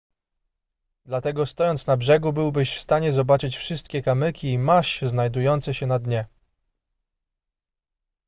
dlatego stojąc na brzegu byłbyś w stanie zobaczyć wszystkie kamyki i maź znajdujące się na dnie